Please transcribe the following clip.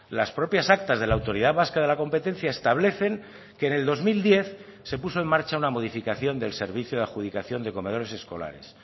las propias actas de la autoridad vasca de la competencia establecen que en el dos mil diez se puso en marcha una modificación del servicio de adjudicación de comedores escolares